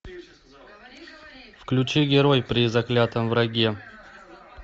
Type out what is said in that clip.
включи герой при заклятом враге